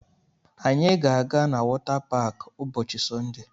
Anyị ga-aga na wọta paakị ụbọchị Sọnde